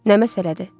Nə məsələdir?